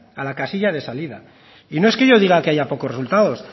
a la casilla de salida y no es que yo diga que haya pocos resultados